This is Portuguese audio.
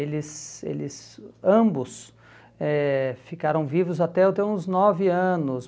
Eles eles ambos eh ficaram vivos até eu ter uns nove anos.